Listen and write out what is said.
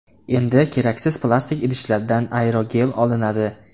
Endi keraksiz plastik idishlardan aerogel olinadi.